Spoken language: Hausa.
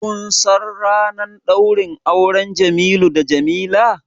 Kun san ranar ɗaurin auren Jamilu da Jamila?